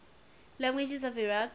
languages of iraq